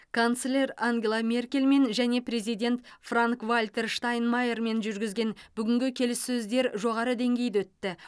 канцлер ангела меркельмен және президент франк вальтер штайнмайермен жүргізілген бүгінгі келіссөздер жоғары деңгейде өтті